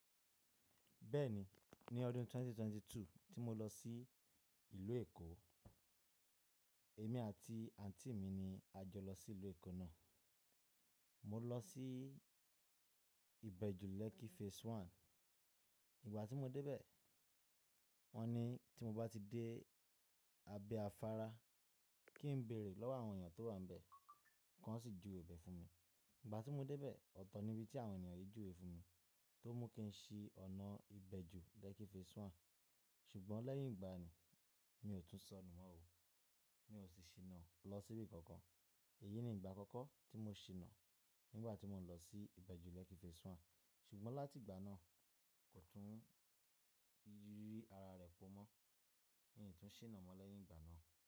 Bẹ́ẹ̀ni, ní ọdún ẹgbẹ̀rún méjì ó lé méjìlélógún tí mo lọ sí ìlú Èkó, èmi àti àǹtí mi ni a jọ lọ sí ìlú Èkó náà. Mo lọ sí ìbẹjù Lekki Phase 1, ìgbà tí mo dé bẹ́ẹ̀, wọ́n ní tí mo bá ti dé Abẹ́ Afárá kí n bèrè lọ́wọ́ àwọn èèyàn tó wà níbẹ̀, wọn sì juwe bẹ́ẹ̀ fún mi. Ìgbà tí mo dé bẹ́ẹ̀, ọ̀tọ̀ ni bí tí àwọn ènìyàn yìí juwe fún mi tó mú kí n ṣí ọ̀nà ìbẹjù Lekki Phase 1, ṣùgbọ́n lẹ́yìn ìgbà ni, mi ò tún sọnù mọ́ o. Mi ò sì ṣìnà lọ síbi kankan. Èyí ni ìgbà àkọ́kọ́ tí mo ṣìnà nígbà tí mò ń lọ sí ìbẹjù Lekki Phase 1, ṣùgbọ́n láti ìgbà náà kò tún rí ara rẹ̀ po mọ́ níyì tú ṣìnà mọ́ lẹ́yìn ìgbà náà.